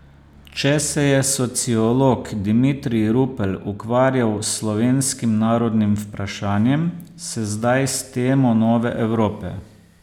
Če se je sociolog Dimitrij Rupel ukvarjal z slovenskim narodnim vprašanjem, se zdaj s temo Nove Evrope.